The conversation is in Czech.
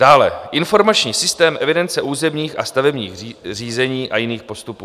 Dále Informační systém evidence územních a stavebních řízení a jiných postupů.